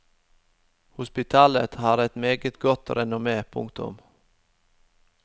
Hospitalet har et meget godt renommé. punktum